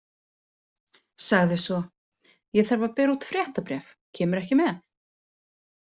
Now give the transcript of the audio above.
Sagði svo: Ég þarf að bera út fréttabréf, kemurðu ekki með?